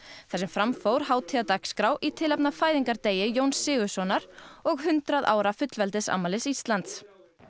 þar sem fram fór hátíðardagskrá í tilefni af fæðingardegi Jóns Sigurðssonar og hundrað ára fullveldisafmæli Íslands